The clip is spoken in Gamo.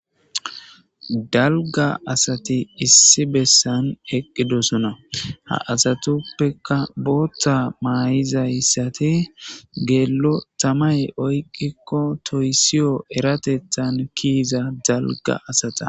dalga asati issi bessan eqqidosona ha asatuppeka bootta maayizayssate geello tamay oyqikko toysiyo eratethan kiiza dalga asata